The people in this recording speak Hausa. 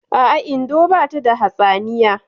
A'a, Indo bata da hatsaniya